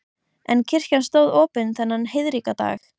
En kirkjan stóð opin þennan heiðríka dag.